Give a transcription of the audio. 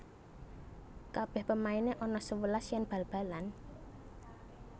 Kabeh pemaine ana sewelas yen bal balan?